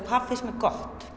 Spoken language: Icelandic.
hvað finnst mér gott